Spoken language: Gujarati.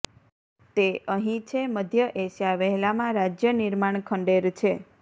તે અહીં છે મધ્ય એશિયા વહેલામાં રાજ્ય નિર્માણ ખંડેર છે